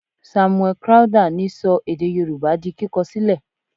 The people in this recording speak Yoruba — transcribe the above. Samuel Crowther ni sọ èdè yorùbá di kíkọ sílẹ̀.